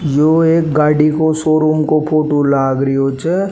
यो एक गाडी को शोरूम को फोटो लाग रियो छे।